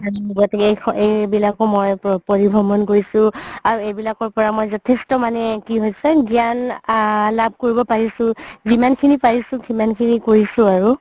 এইবিলাকও মই পৰিভ্ৰমণ কৰিছো আৰু এইবিলাকৰ পৰা মই যথেষ্ট মানে কি হৈছে গ্যান লাভ কৰিব পাৰিছো যিমান খিনি পাৰিছো সিমানখিনি কৰিছো আৰু